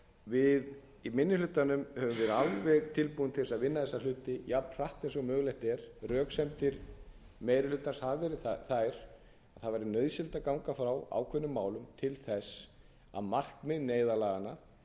við í minni hlutanum höfum verið alveg tilbúin til þess að vinna þessi hluti jafnhratt og mögulegt er röksemdir meiri hlutans hafa verið þær að það væri nauðsynlegt að ganga frá ákveðnum málum til þess að markmið neyðarlaganna